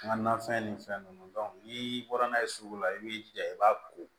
N ka nafɛn ni fɛn ninnu n'i bɔra n'a ye sugu la i b'i jija i b'a ko